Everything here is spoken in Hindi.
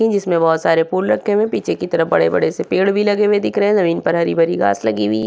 जिसमें बोहोत सारे फूल रखें हुए हैं पीछे की तरफ बोहोत बड़े-बड़े से पेड़ भी लगे हुए दिख रहें जमीन पर हरी-भरी घास लगी हुई --